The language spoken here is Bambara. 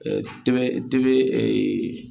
tɛmɛ dibe ee